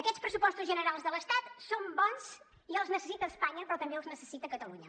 aquests pressupostos generals de l’estat són bons i els necessita espanya però també els necessita catalunya